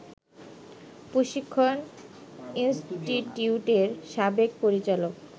প্রশিক্ষণ ইন্সটিটিউটের সাবেক পরিচালক